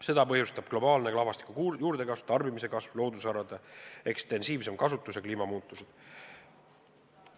Seda põhjustavad globaalne rahvastiku juurdekasv, tarbimise kasv, loodusvarade ekstensiivsem kasutus ja kliimamuutused.